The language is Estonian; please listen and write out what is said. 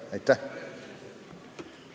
Aitäh!